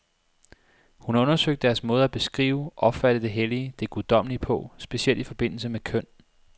Hun har undersøgt deres måde at beskrive, opfatte det hellige, det guddommelige på, specielt i forbindelse med køn.